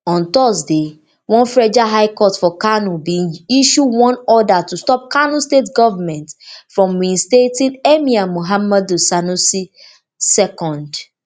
on thursday one federal high court for kano bin issue one order to stop kano state government from reinstating emir muhammadu sanusi ii